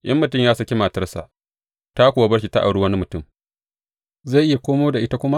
In mutum ya saki matarsa ta kuwa bar shi ta auri wani mutum, zai iya komo da ita kuma?